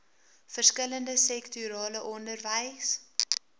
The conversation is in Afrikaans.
verskillende sektorale onderwys